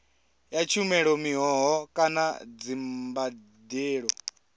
ya tshumelo mihoho kana dzimbadelo